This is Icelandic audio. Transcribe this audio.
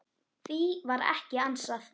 Því var ekki ansað.